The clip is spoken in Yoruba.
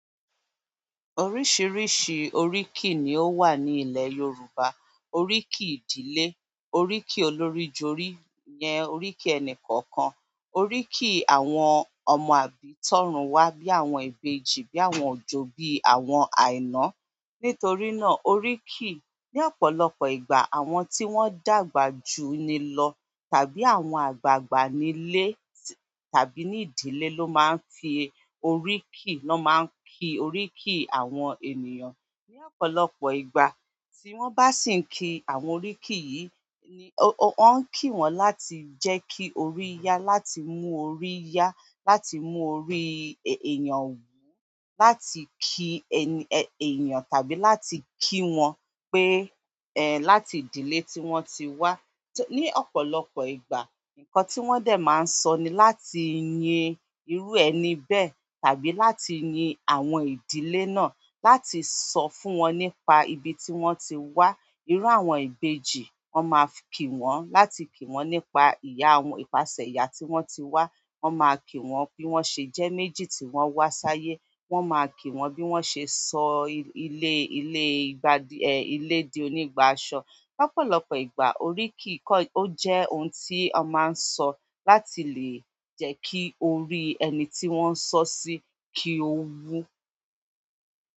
Oríṣiríṣi oríkì ni ó wà ní ilẹ̀ Yorùbá. Oríkì ìdílé, oríkì olórí jorí yẹn, oríkì ẹnì kọ̀ọ̀kan, oríkì àwọn ọmọ àbí, tọ̀rùn wá bí àwọn ìbejì, bí àwọn òjo, bí àwọn àìná. Nítorí náà, oríkì ní ọ̀pọ̀lọpọ̀ ìgbà àwọn tí wọ́n dàgbà ju ni lọ tàbí àwọn àgbàgbà nílé tàbí ní ìdílé ló máa ń fi oríkì, na máa ń kí oríkì àwọn ènìyàn. Ni ọ̀pọ̀lọpọ̀ ìgbà tí wọ́n bá sì ń kí àwọn oríkì yìí ni wọ́n ń kí wọn láti jẹ́ kí orí yá, láti mú orí yá, láti mú orí èèyàn wú, láti ki ẹni èèyàn tàbí láti kí wọn pé, ẹ́, láti ìdílé tí wọ́n ti wá. Ni ọ̀pọ̀lọpọ̀ ìgbà nǹkan tí wọ́n dẹ̀ máa ń sọ ni láti yin irú ẹni bẹ́ẹ̀ tàbí láti yin àwọn ìdílé náà, láti sọ fún wọn nípa ibi tí wọ́n ti wá. Irú àwọn ìbejì, wọ́n máa ń kí wọn láti kí wọn nípa ìyá wọn, ìpàṣẹ ìyá tí wọ́n ti wá, wọ́n máa kí wọn bí wọ́n ṣe jẹ́ méjì tí wọ́n wá sáyé, wọ́n máa kí wọn bí wọ́n ṣe sọ ilé, ilé ìgbà, ẹ́, ilé di onígbáṣọ. Ni ọ̀pọ̀lọpọ̀ ìgbà oríkì kọ́, ó jẹ́ ohun tí a máa ń sọ láti lè jẹ́ kí orí ẹni tí wọ́n ń sọ sí kí ó wú.